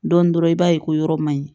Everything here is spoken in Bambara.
Dɔɔnin dɔrɔn i b'a ye ko yɔrɔ man ɲi